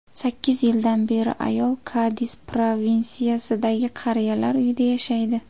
Sakkiz yildan beri ayol Kadis provinsiyasidagi qariyalar uyida yashaydi.